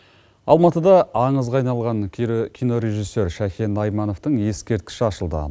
алматыда аңызға айналған кинорежиссер шәкен аймановтың ескерткіші ашылды